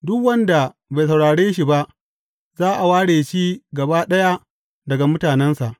Duk wanda bai saurare shi ba za a ware shi gaba ɗaya daga mutanensa.’